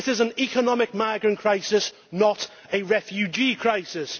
It is an economic migrant crisis, not a refugee crisis.